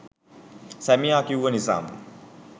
සැමියා කිව්ව නිසාම